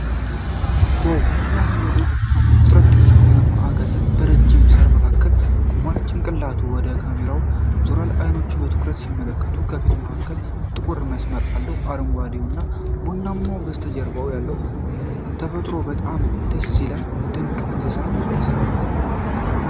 ዋው፣ የሚያምር የዱር ፍጥረት! ትንሽ ቡናማ አጋዘን በረዥም ሣር መካከል ቆሟል። ጭንቅላቱ ወደ ካሜራው ዞሯል፤ አይኖቹ በትኩረት ሲመለከቱ፣ ከፊት መሃሉ ጥቁር መስመር አለው። አረንጓዴውና ቡናማው በስተጀርባ ያለው ተፈጥሮ በጣም ደስ ይላል። ድንቅ የእንስሳት ውበት!